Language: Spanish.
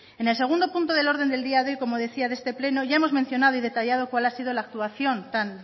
en el segundo punto el orden del día de hoy como decía de este pleno ya hemos mencionado y detallado cual ha sido la actuación tan